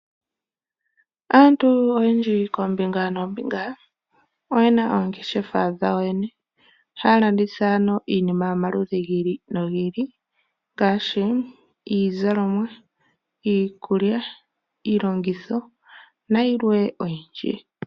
Aantu oyendji koombinga noombinga oyena oongeshefa dhawo yoyene .ohaya landitha iinima yomaludhi gi ili nogi ili ngaashi iizalomwa, iikulya ,iilongitho nayilwe oyindji.